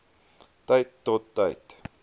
tyd tot tyd